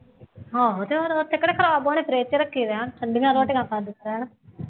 ਆਹੋ ਅਤੇ ਉਹ ਹੋਰ ਉੱਥੇ ਕਿਹੜਾ ਖਰਾਬ ਹੋਣੇ ਆ ਫਰਿੱਜ਼ ਚ ਰੱਖੇ ਰਹਿਣ, ਠੰਡੀਆਂ ਰੋਟੀਆਂ ਖਾਂਦੇ ਰਹਿਣ